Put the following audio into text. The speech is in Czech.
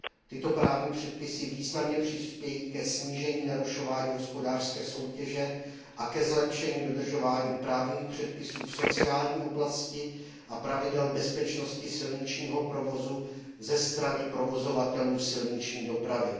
Tyto právní předpisy významně přispějí ke snížení narušování hospodářské soutěže a ke zlepšení dodržování právních předpisů v sociální oblasti a pravidel bezpečnosti silničního provozu ze strany provozovatelů silniční dopravy.